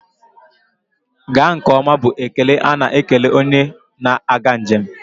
Gaa nke ọma bụ ekele a na-ekele onye na-aga njem.